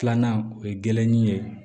Filanan o ye gɛrɛnin ye